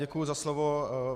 Děkuji za slovo.